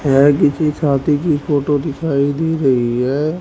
यह किसी शादी की फोटो दिखाई दे रही है।